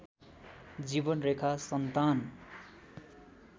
जीवनरेखा सन्तान